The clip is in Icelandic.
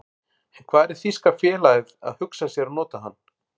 En hvar er þýska félagið að hugsa sér að nota hana?